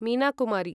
Meena Kumari